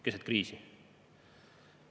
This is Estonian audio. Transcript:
Keset kriisi!